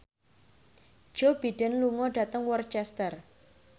Joe Biden lunga dhateng Worcester